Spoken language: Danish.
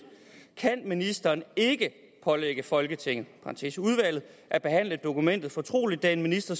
kan ministeren ikke pålægge folketinget at behandle dokumentet som fortroligt da en minister